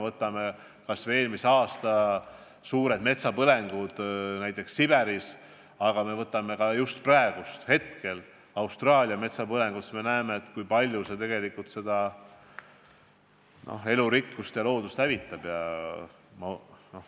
Võtame eelmise aasta suured metsapõlengud Siberis ja võtame praegused Austraalia metsapõlengud – on selge, kui palju see kõik tegelikult elurikkust ja loodust hävitab.